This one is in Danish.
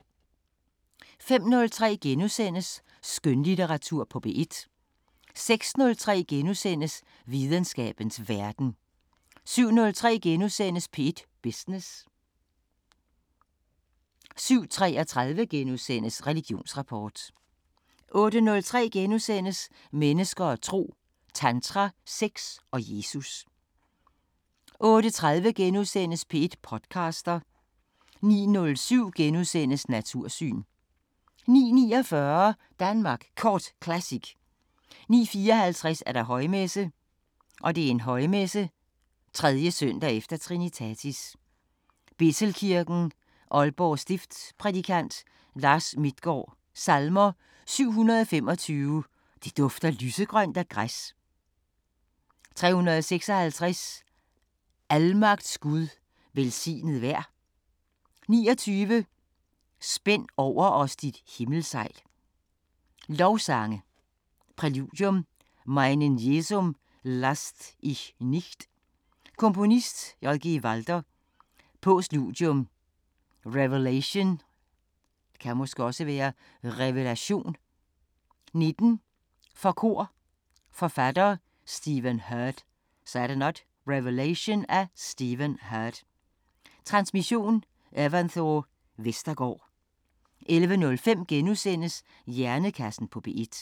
05:03: Skønlitteratur på P1 * 06:03: Videnskabens Verden * 07:03: P1 Business * 07:33: Religionsrapport * 08:03: Mennesker og tro: Tantra, sex og Jesus * 08:30: P1 podcaster * 09:07: Natursyn * 09:49: Danmark Kort Classic 09:54: Højmesse - Højmesse. 3. s. efter Trinitatis. Bethelkirken, Aalborg Stift Prædikant: Lars Midtgaard Salmer: 725: "Det dufter lysegrønt af græs". 356: "Almagts Gud, velsignet vær". 29: "Spænd over os dit himmelsejl". Lovsange. Præludium: Meinen Jesum lasst ich nicht" Komponist: J.G. Walther Postludium: Revelation 19 for kor Forfatter: Stephen Hurd. Transmission: Evanthore Vestergaard 11:05: Hjernekassen på P1 *